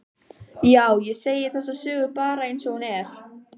Já, ég segi þessa sögu bara einsog hún er.